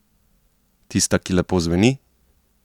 Tista, ki lepo zveni?